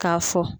K'a fɔ